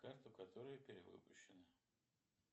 карту которая перевыпущена